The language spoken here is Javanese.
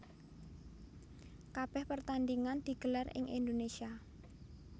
Kabèh pertandingan digelar ing Indonésia